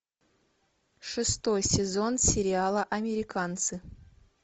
шестой сезон сериала американцы